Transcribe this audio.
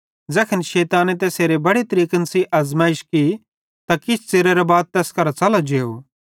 ज़ैखन शैताने तैसेरी बड़े तरीकेईं अज़मैइश की त किछ च़िरेरां बाद तैस करां च़लो जेव